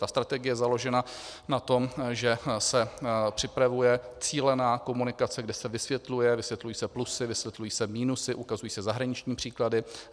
Ta strategie je založena na tom, že se připravuje cílená komunikace, kde se vysvětluje, vysvětlují se plusy, vysvětlují se minusy, ukazují se zahraniční příklady.